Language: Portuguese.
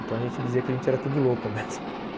Então a gente dizia que a gente era tudo louco mesmo